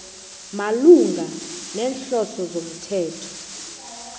malungana neenhloso zomthetho